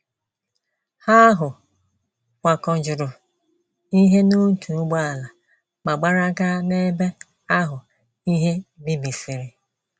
Ha ahụ kwakọjuru ihe n’otu ụgbọala ma gbara gaa n’ebe ahụ ihe bibisịrị.